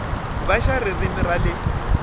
va xa ririmi ra le